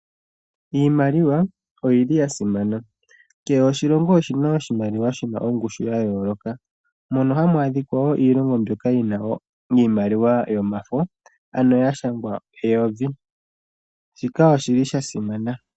Iimaliwa oya simana. Kehe oshilongo oshina oshimaliwa shina ongushu ya yooloka. Opuna iilongo yina iimaliwa yomafo yashangwa eyovi, shika oshasimana.